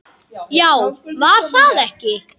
Já, var það ekki?